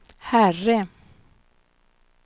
herre